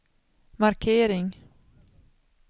markering